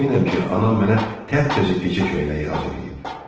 Əminəm ki, anam mənə təptəzə gecə köynəyi hazırlayıb.